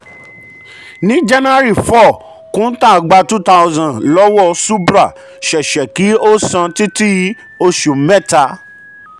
ní jan 4 kuntal gba 2000 um lọ́wọ́ subhra ṣẹ̀ṣẹ̀ kí um ó san títí oṣù méta.